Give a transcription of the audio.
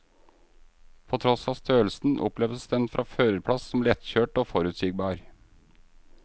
På tross av størrelsen, oppleves den fra førerplass som lettkjørt og forutsigbar.